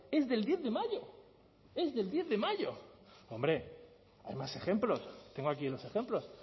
es del diez de mayo es del diez de mayo hombre hay más ejemplos tengo aquí los ejemplos